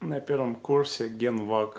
на первом курсе ген лак